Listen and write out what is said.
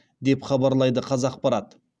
деп хабарлайды қазақпарат